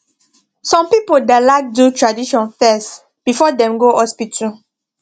some people da like do tradition fes before dem go hospital